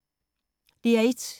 DR1